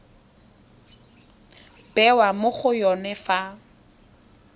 bewa mo go yone fa